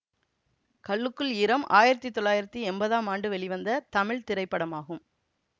கல்லுக்குள் ஈரம் ஆயிரத்தி தொள்ளாயிரத்தி எம்பதாம் ஆண்டு வெளிவந்த தமிழ் திரைப்படமாகும்